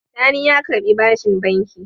Sani ya karɓi bashin banki.